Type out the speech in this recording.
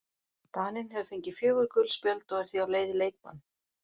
Daninn hefur fengið fjögur gul spjöld og er því á leið í leikbann.